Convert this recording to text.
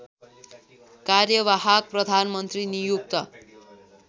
कार्यवाहक प्रधानमन्त्री नियुक्त